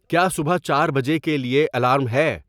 کیا صبح چار بجے کے لیے الارم ہے